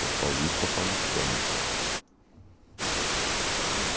Estou paulista, paulistano.